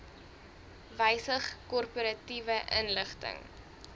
wysig korporatiewe inligting